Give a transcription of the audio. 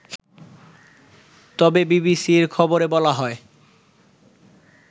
তবে বিবিসির খবরে বলা হয়